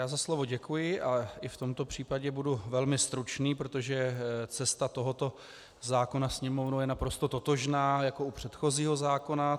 Já za slovo děkuji a i v tomto případě budu velmi stručný, protože cesta tohoto zákona Sněmovnou je naprosto totožná jako u předchozího zákona.